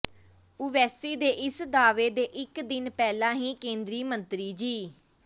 ਓਵੈਸੀ ਦੇ ਇਸ ਦਾਅਵੇ ਦੇ ਇੱਕ ਦਿਨ ਪਹਿਲਾਂ ਹੀ ਕੇਂਦਰੀ ਮੰਤਰੀ ਜੀ